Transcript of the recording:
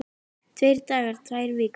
Tveir dagar, tvær vikur?